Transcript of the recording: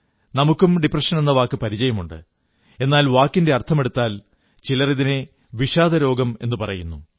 നമുക്കും ഡിപ്രഷനെന്ന വാക്കു പരിചയമുണ്ട് എന്നാൽ വാക്കിന്റെ അർഥമെടുത്താൽ ചിലർ ഇതിനെ വിഷാദരോഗമെന്നു പറയുന്നു